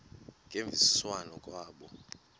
ngemvisiswano r kwabo